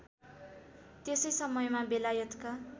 त्यसै समयमा बेलायतका